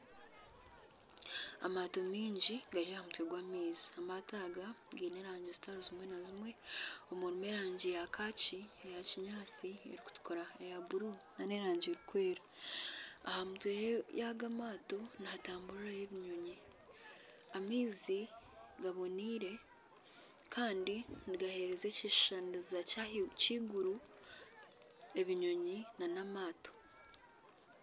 Amaato maingi gari aha mutwe gw'amaizi amaato aga gaine erangi zitari zimwe na zimwe harimu erangi ya kaaki eya kinyantsi ,erikutukura eya bururu nana erangi erikweera aha mutwe yago amaato nihatamburiraho ebinyonyi amaizi gaboneire Kandi nigahereza ekishushaniriza ky'eiguru ebinyonyi nana amaato